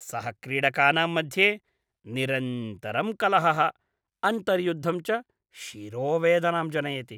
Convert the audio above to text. सहक्रीडकानां मध्ये निरन्तरं कलहः, अन्तर्युद्धं च शिरोवेदनां जनयति।